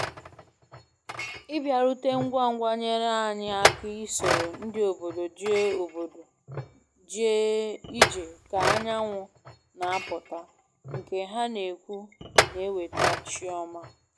ịbiarute ngwa ngwa nyere anyị aka isoro ndị obodo jee obodo jee ije ka-anyanwụ na-apụta nke ha na-ekwu na eweta chi ọma